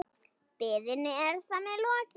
Biðinni er þar með lokið.